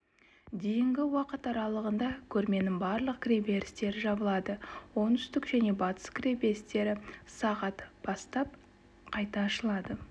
дейінгі уақыт аралығында көрменің барлық кіреберістері жабылады оңтүстік және батыс кіреберістері сағат бастап қайта ашылады